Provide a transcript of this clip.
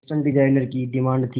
fashion designer की demand थी